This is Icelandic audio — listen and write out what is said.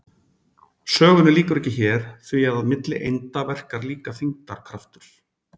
Sögunni lýkur ekki hér því að milli einda verkar líka þyngdarkraftur.